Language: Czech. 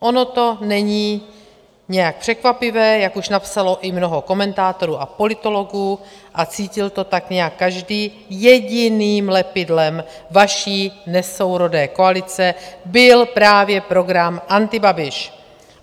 Ono to není nějak překvapivé, jak už napsalo i mnoho komentátorů a politologů, a cítil to tak nějak každý, jediným lepidlem vaší nesourodé koalice byl právě program antibabiš.